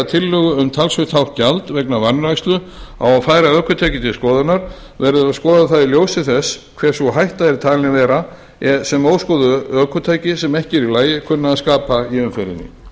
um talsvert hátt gjald vegna vanrækslu á að færa ökutæki til skoðunar verður að skoða það í ljósi þess hver sú hætta er talin vera sem óskoðuð ökutæki sem ekki eru í lagi kunna að skapa í